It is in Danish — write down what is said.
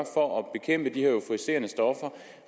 for at bekæmpe de her euforiserende stoffer